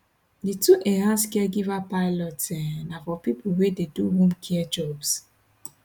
di two enhanced caregiver pilots um na for pipo wey dey do home care jobs